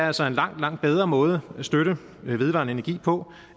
altså en langt langt bedre måde at støtte vedvarende energi på